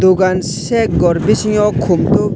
dogan set gor bisingo komtop.